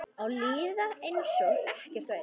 Að líða einsog ekkert væri.